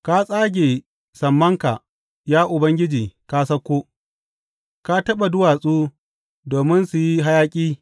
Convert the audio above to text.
Ka tsage sammanka, ya Ubangiji, ka sauko; ka taɓa duwatsu, domin su yi hayaƙi.